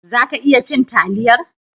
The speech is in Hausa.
Za ka iya cin taliyar?